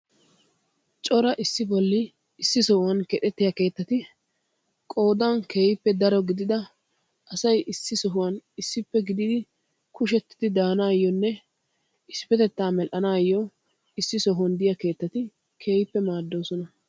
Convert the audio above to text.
Cora issi bolli issi sohuwaan kexettiyaa keettati qoodan keehippe daro gidida asay issi sohuwaan issippe gididi kushshetidi daanayoonne isipetettaa medhdhanayoo issi sohuwaan de'iyaa keettati keehippe maaddoosona.